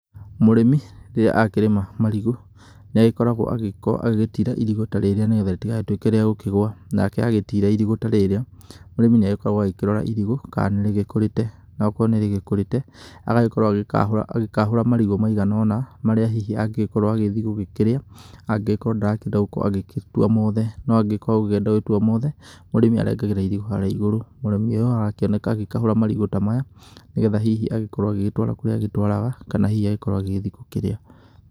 Mũrĩmi rĩrĩa akĩrĩma marigũ nĩ agĩkoragwo agĩtira irigũ ta rĩrĩa nĩgetha rĩtigagĩtuĩke rĩa gũkĩgwa, nake agĩtira irigũ ta rĩrĩa, mũrĩmi nĩ agĩkoragwo akĩrora irigũ kana nĩ rĩgĩkũrĩte, na okorwo nĩ rĩgĩkũrĩte, agagĩkorwo agĩkahũra marigũ maigana ũna marĩa hihi angĩgĩkorwo agĩthiĩ hihi gũkĩrĩa, angĩgĩkorwo ndarakĩenda gũkorwo agĩtua mothe, no angĩgĩkorwo agũkĩenda gũtua mothe mũrĩmi arengagĩra irigũ harĩa igũrũ. Mũrĩmi ũyũ arakĩoneka agĩkahũra marigũ ta maya nĩgetha hihi agĩkorwo agĩgĩtwara kũrĩa atwaraga kana hihi agĩkorwo agĩthiĩ gũkĩrĩa.